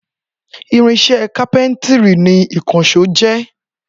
Irinṣẹ́ kápẹ́ńtírì ni ìkànṣó jẹ́.